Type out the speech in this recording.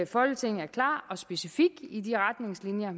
folketinget er klar og specifik i de retningslinjer